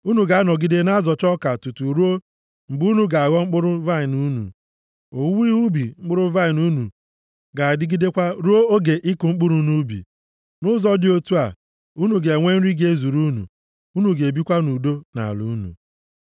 Unu ga-anọgide na-azọcha ọka tutu ruo mgbe unu ga-aghọ mkpụrụ vaịnị unu, owuwe ihe ubi mkpụrụ vaịnị unu ga-adịgidekwa ruo oge ịkụ mkpụrụ nʼubi. Nʼụzọ dị otu a, unu ga-enwe nri ga-ezuru unu, unu ga-ebikwa nʼudo nʼala unu.